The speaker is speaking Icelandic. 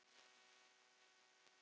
Þetta kom mjög á óvart.